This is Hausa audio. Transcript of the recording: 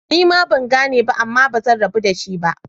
Nima bangane ba Amma bazan rabu da shi ba.